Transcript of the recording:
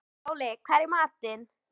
Váli, hvað er í matinn?